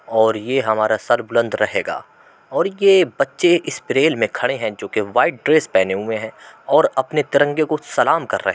और ये हमारा सर बुलंद रहेगा और ये बच्चे में खड़े हैं जो कि वाइट ड्रेस पहने हुए हैं और अपने तिरंगे को सलाम कर रहे --